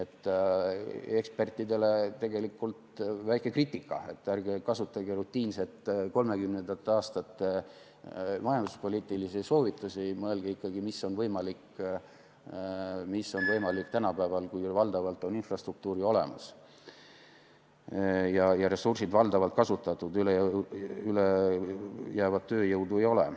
Ekspertide kohta tegelikult väike kriitika: ärge kasutage rutiinselt 1930. aastate majanduspoliitilisi soovitusi, mõelge ikkagi, mis on võimalik tänapäeval, kui valdavalt on infrastruktuur ju olemas ja ressursid valdavalt kasutatud, ülejäävat tööjõudu ei ole.